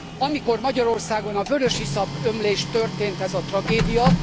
Amikor Magyarországon a vörösiszap ömlés történt, ez a tragédia.